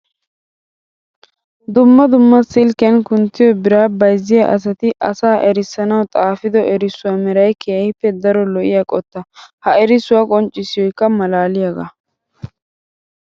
Dumma dumma silkkiyan kunttiyo biraa bayzziya asatti asaa erissanawu xaafido erissuwa meray keehippe daro lo'iya qotta. Ha erissuwa qonccissoykka malaaliyaga.